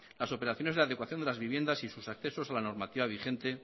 las operaciones de adecuación de las viviendas y sus accesos a la normativa vigente